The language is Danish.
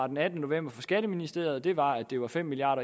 den attende november fra skatteministeriet var at det var fem milliard